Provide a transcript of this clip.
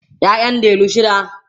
ƴaƴan delu shida